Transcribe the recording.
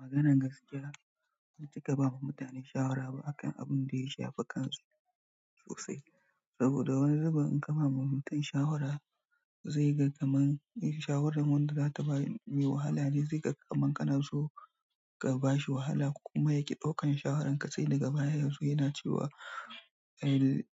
Maganan gaskiya ban cika bawa mutane shawara ba akan abun da ya shafi kansu sosai. Saboda wani zubin in ka ba wa mutum shawara zai ga kamar in shawaran wanda za ta bai yi wahala, zai ga kamar kana so ka bashi wahala ko kuma yaki ɗaukan shawarar ka sai daga yazo yana cewa